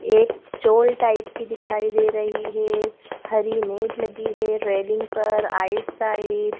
एक चोल टाइप की दिखाई दे रही है हरी नेट लगी है रेलिंग पर राइट साइड --